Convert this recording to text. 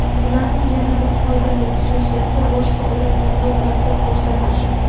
Ularning yana bir foydali xususiyati: boshqa odamlarga ta’sir ko‘rsatishi.